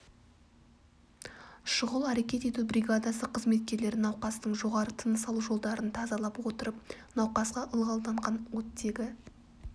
шұғыл әрекет ету бригадасы қызметкерлері науқастың жоғары тыныс алу жолдарын тазалап отырып науқасқа ылғалданған оттегі